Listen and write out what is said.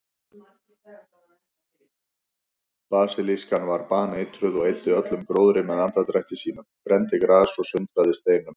Basilískan var baneitruð og eyddi öllum gróðri með andardrætti sínum, brenndi gras og sundraði steinum.